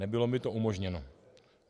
Nebylo mi to umožněno.